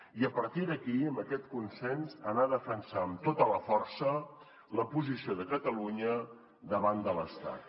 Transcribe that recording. i a partir d’aquí amb aquest consens anar a defensar amb tota la força la posició de catalunya davant de l’estat